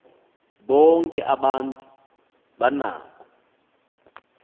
bonke abantu banako